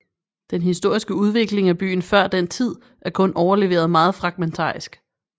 Den historiske udvikling af byen før den tid er kun overleveret meget fragmentarisk